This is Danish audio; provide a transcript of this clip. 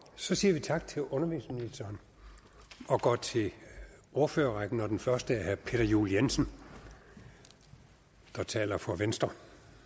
så siger vi tak til undervisningsministeren og går til ordførerrækken og den første er herre peter juel jensen der taler for venstre